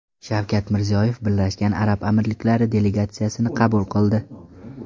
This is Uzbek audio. Shavkat Mirziyoyev Birlashgan Arab Amirliklari delegatsiyasini qabul qildi.